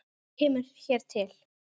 Margt kemur hér til.